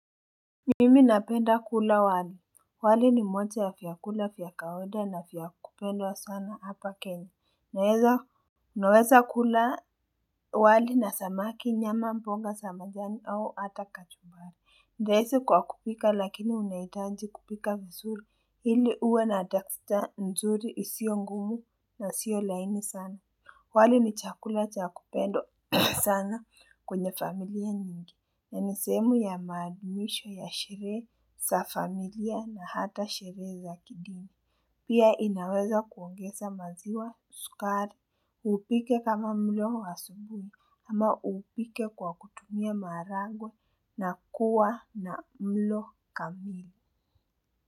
Mimi napenda kula wali, wali ni moja ya vyakula vya kawaida na vya kupendwa sana hapa kenya, naweza kula wali na samaki nyama mbonga za majani au hata kachumbari. Ni rahisi kwa kupika lakini unahitaji kupika vizuri, ili uwe na texture nzuri isiyo ngumu na sio laini sana. Wali ni chakula cha kupendwa sana kwenye familia nyingi. Na ni sehemu ya maadhimisho ya sherehe za familia na hata sherehe za kidini. Pia inaweza kuongeza maziwa sukari, uupike kama mlo wa asubuhi ama uupike kwa kutumia maharagwe na kuwa na mlo kamili.